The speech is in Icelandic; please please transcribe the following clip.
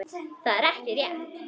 Það er ekki rétt.